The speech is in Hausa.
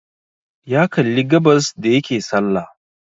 Ya kalli gabas da yake salla